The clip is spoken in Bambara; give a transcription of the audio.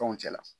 Fɛnw cɛla